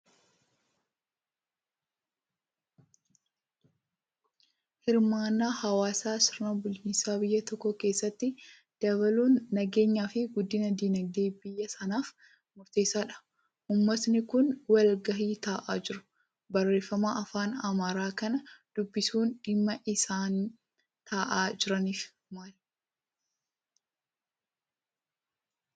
Hirmaannaa hawaasaa sirna bulchiinsa biyya tokkoo keessatti dabaluun nageenyaa fi guddina dinagdee biyya sanaaf murteessaadha. Uummatni kun wal ga'ii taa'aa jiru. Barreeffama afaan Amaaraa kana dubbisuun dhimmi isaan taa'aa jiraniif maal?